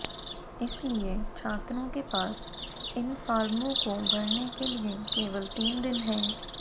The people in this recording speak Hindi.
इसलिए छात्रों के पास इन फॉर्मों को भरने के लिए केवल तीन दिन हैं